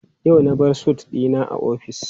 Yau na bar sut dina a office.